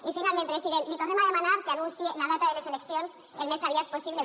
i finalment president li tornem a demanar que anunciï la data de les eleccions al més aviat possible